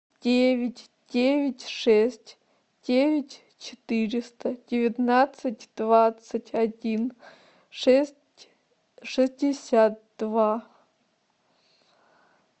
девять девять шесть девять четыреста девятнадцать двадцать один шесть шестьдесят два